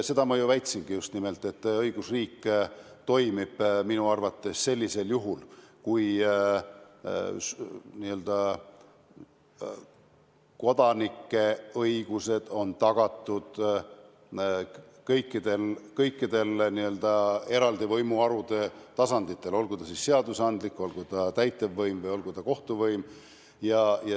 Seda ma ju just nimelt väitsingi, et õigusriik toimib minu arvates sellisel juhul, kui kodanike õigused on tagatud kõikidel n-ö eraldi võimuharude tasanditel, olgu see siis seadusandlik võim, olgu see täitevvõim või olgu see kohtuvõim.